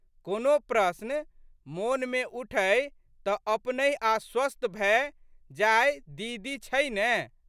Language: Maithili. कोनो प्रश्न मोनमे उठै तऽ अपनहि आश्वस्त भए जायदीदी छै ने।